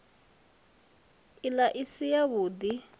ila i si yavhud i